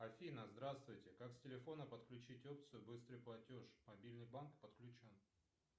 афина здравствуйте как с телефона подключить опцию быстрый платеж мобильный банк подключен